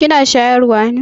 Kina shayarwa ne?